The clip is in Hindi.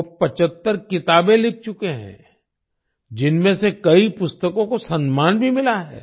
वो 75 किताबें लिख चुके हैं जिनमें से कई पुस्तकों को सम्मान भी मिला है